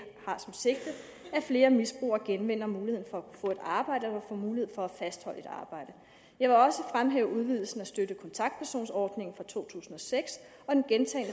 flere misbrugere genvinder muligheden for at få et arbejde eller får mulighed for at fastholde et arbejde jeg vil også fremhæve udvidelsen af støtte og kontaktpersonsordningen fra to tusind og seks og den gentagne